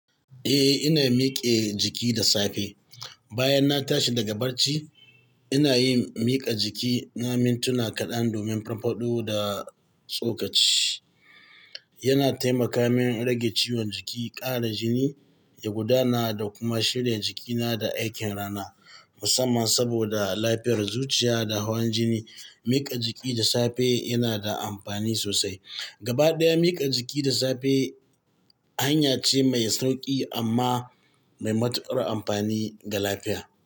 Eh, ina mike jiki da safe. Bayan na tashi daga barci, ina yin miƙa jiki. Na mintuna kaɗan domin farfaɗo da tsokaci. Yana taimaka min rage ciwon jiki, ƙara jini, ya gudana da kuma shirya jikina da aikin rana. Musamman saboda lafiyar zuciya da hawan jini, miƙa jiki da safe yana da amfani sosai. Gabaɗaya, miƙa jiki da safe hanya ce mai sauƙi amma mai matuƙar amfani ga lafiya.